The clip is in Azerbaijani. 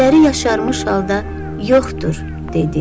Gözləri yaşarmış halda yoxdur dedi.